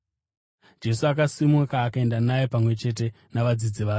Jesu akasimuka akaenda naye pamwe chete navadzidzi vake.